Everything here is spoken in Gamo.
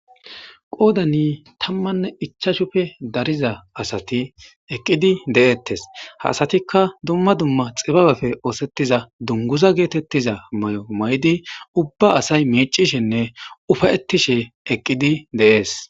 qoodani tammanne ichashupfe dariza asati eqqidi de7ettes ha asatikka dumma dumma xibabafe oosettiza dunguza geetettiza may7o may7di ubba asay miicishenne ufayettishe eqqidi deees